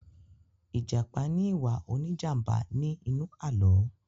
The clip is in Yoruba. ijapa ní iwa òní jàmbá ní inú Àló̩